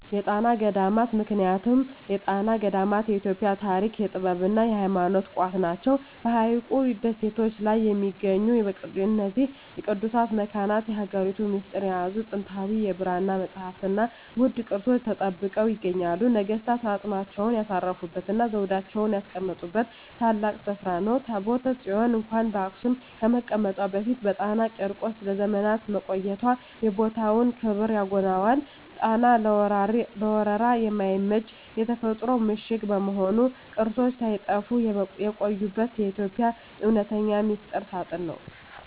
የጣና ገዳማት ምክንያቱም የጣና ገዳማት የኢትዮጵያ የታሪክ፣ የጥበብና የሃይማኖት ቋት ናቸው። በሐይቁ ደሴቶች ላይ በሚገኙት በእነዚህ ቅዱሳት መካናት፣ የሀገሪቱን ሚስጥር የያዙ ጥንታዊ የብራና መጻሕፍትና ውድ ቅርሶች ተጠብቀው ይገኛሉ። ነገሥታት አፅማቸውን ያሳረፉበትና ዘውዳቸውን ያስቀመጡበት ታላቅ ስፍራ ነው። ታቦተ ጽዮን እንኳን በአክሱም ከመቀመጧ በፊት በጣና ቂርቆስ ለዘመናት መቆየቷ የቦታውን ክብር ያጎላዋል። ጣና ለወረራ የማይመች የተፈጥሮ ምሽግ በመሆኑ፣ ቅርሶች ሳይጠፉ የቆዩበት የኢትዮጵያ እውነተኛ ሚስጥር ሳጥን ነው።